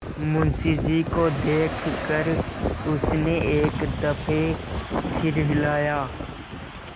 मुंशी जी को देख कर उसने एक दफे सिर हिलाया